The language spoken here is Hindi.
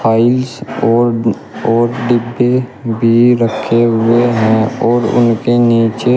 फाइल्स और डी और डिब्बे भी रखे हुए हैं और उनके नीचे --